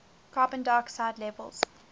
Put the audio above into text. carbon dioxide levels